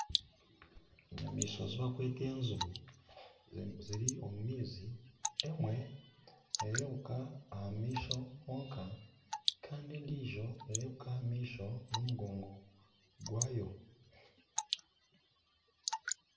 Enyamaishwa ezi barikweta enjubu ziri omu maizi emwe neerebuka aha maisho honka kandi endiijo neerebeka aha maisho n'omugongo gwayo.